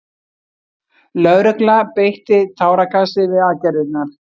Lögregla beitti táragasi við aðgerðirnar